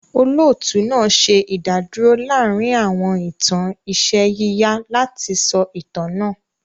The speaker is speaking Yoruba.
Olóòtú náà ṣe ìdádúrò láàárín àwọn ìtàn iṣẹ́ yíyà láti sọ itan náà.